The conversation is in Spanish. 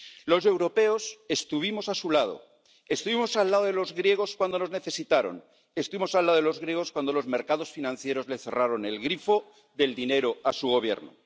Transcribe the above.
Los europeos estuvimos a su lado, estuvimos al lado de los griegos cuando nos necesitaron, estuvimos al lado de los griegos cuando los mercados financieros le cerraron el grifo del dinero a su Gobierno.